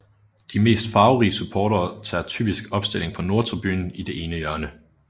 De mest farverige supportere tager typisk opstilling på Nordtribunen i det ene hjørne